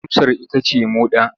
Amsar ita ce moɗa.